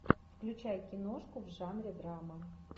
включай киношку в жанре драма